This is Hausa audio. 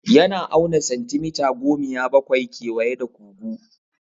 Yana auna santimita gomiya bakwai kewaye da kugu.